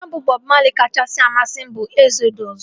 Abọm Bọb Mali kachasị amasị m bụ Ezodụs